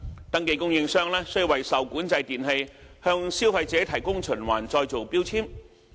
登記供應商須為受管制電器向消費者提供循環再造標籤。